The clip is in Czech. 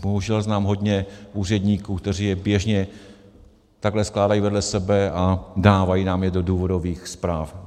Bohužel znám hodně úředníků, kteří je běžně takhle skládají vedle sebe a dávají nám je do důvodových zpráv.